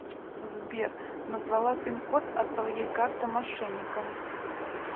сбер назвала пин код от своей карты мошенникам